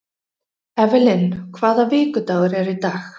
Evelyn, hvaða vikudagur er í dag?